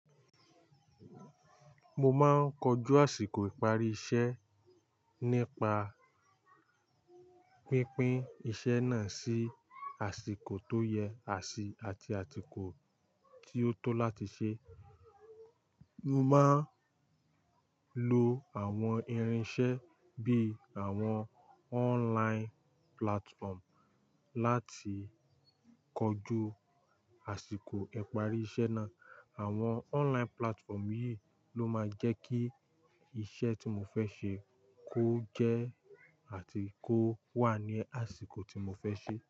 Mo máa ń kojú àsìkò ìparí iṣẹ́ nípa pínpín iṣẹ́ náà sí àsìkò tó yẹ, àṣì àti àtìkò tí ó tó láti ṣe. Mo máa ń lo àwọn irinṣẹ́ bí i àwọn online platform láti kojú àsìkò ìparí iṣẹ́ náà. Àwọn online platform yìí ló máa ń jẹ́ kí iṣẹ́ tí mo fẹ́ ṣe kó jẹ́ àtìkò wá ní àsìkò tí mo fẹ́ ṣe.